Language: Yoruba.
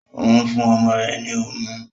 Ó ń fún ọmọ rẹ̀ ní ọmú.